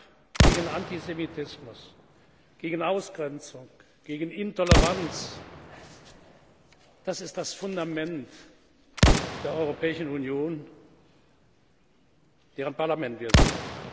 Der Kampf gegen Antisemitismus, gegen Ausgrenzung, gegen Intoleranz ist das Fundament der Europäischen Union, deren Parlament wir sind.